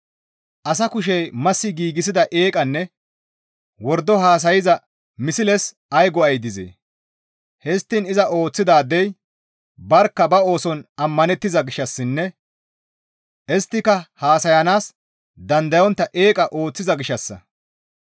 «Asa kushey massi giigsida eeqanne wordo haasayza misles ay go7ay dizee? Histtiin iza ooththidaadey barkka ba ooson ammanettiza gishshassinne isttika haasayanaas dandayontta eeqa ooththiza gishshassa.